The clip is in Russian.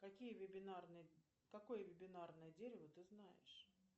какие вебинарные какое вебинарное дерево ты знаешь